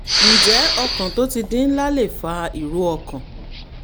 ǹjẹ́ ọkàn tó ti di ńlá lè fa ìró ọkàn?